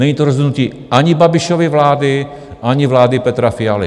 Není to rozhodnutí ani Babišovy vlády, ani vlády Petra Fialy.